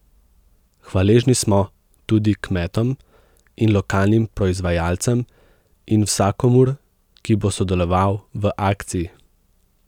Hvaležni smo tudi kmetom in lokalnim proizvajalcem in vsakomur, ki bo sodeloval v akciji.